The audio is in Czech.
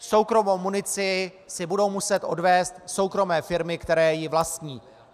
Soukromou munici si budou muset odvézt soukromé firmy, které ji vlastní.